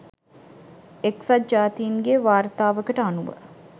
එක්සත් ජාතීන්ගේ වාර්තාවකට අනුව